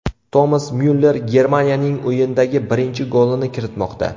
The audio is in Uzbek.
Tomas Myuller Germaniyaning o‘yindagi birinchi golini kiritmoqda.